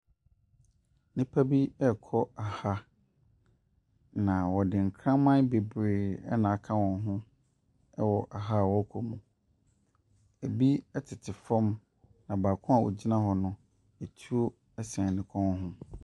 Nnipa bi ɛrekɔ aha na wɔde nkraman bebree n'aka wɔn ho ɛwɔ aha ɔrekɔ no mu. Ebi ɛtete fam na baako a ɔgyina hɔ no, etuo sɛn ne kɔn ho.